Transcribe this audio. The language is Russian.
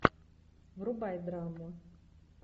врубай драму